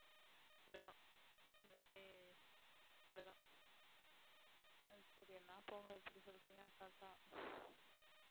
அப்படி தான், எல்லாமே அப்படி தான் சொல்றிங்க அசால்ட்டா